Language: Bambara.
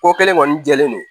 Ko kelen kɔni jɛlen don